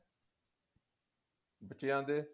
ਬੱਚਿਆਂ ਦੇ